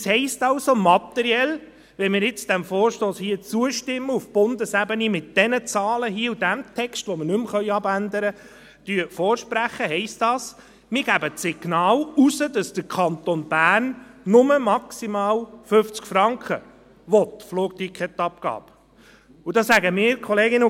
Das heisst also materiell: Wenn wir dem Vorstoss auf Bundesebene hier zustimmen und vorsprechen – mit diesen Zahlen hier und diesem Text, den wir nicht mehr abändern können –, senden wir das Signal aus, dass der Kanton Bern nur eine Flugticketabgabe von maximal 50 Franken will.